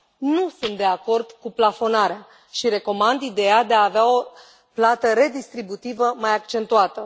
Nu sunt de acord cu plafonarea și recomand ideea de a avea o plată redistributivă mai accentuată.